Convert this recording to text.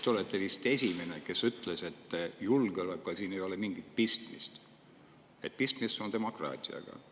Te olete vist esimene, kes ütles, et julgeolekuga ei ole siin mingit pistmist, et pistmist on demokraatiaga.